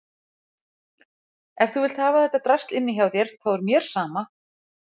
Ef þú vilt hafa þetta drasl inni hjá þér þá er mér sama.